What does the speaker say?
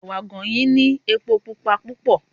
Ẹ̀wà àgànyìn ní epo Pupa púpọ̀.